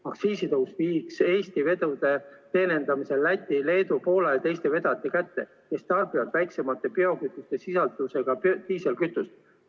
Aktsiisitõus viiks Eesti vedude teenindamise Läti, Leedu, Poola ja teiste vedajate kätte, kes tarbivad väiksema biokütusesisaldusega diislikütust.